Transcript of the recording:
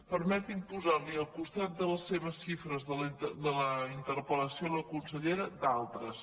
permeti’m posar·li al costat de les seves xifres de la interpel·lació a la consellera d’altres